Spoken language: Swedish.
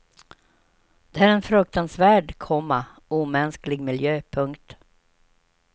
Det är en fruktansvärd, komma omänsklig miljö. punkt